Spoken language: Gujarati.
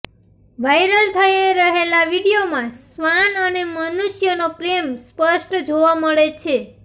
વાયરલ થઈ રહેલા વીડિયોમાં શ્વાન અને મનુષ્યનો પ્રેમ સ્પષ્ટ જોવા મળે છે